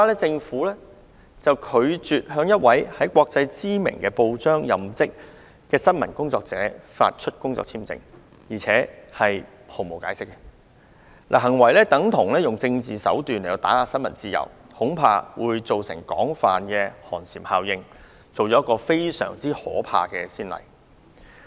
政府拒絕向一名在國際知名報章任職的新聞工作者發出工作簽證，並拒絕提供任何解釋，行為等同用政治手段打壓新聞自由，恐怕會造成廣泛寒蟬效應，立下一個非常可怕的先例。